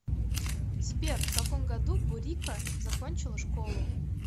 сбер в каком году бурико закончила школу